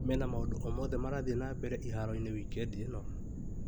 Mena maũndũ o mothe marathiĩ na mbere iharo-inĩ wikendi ĩno ?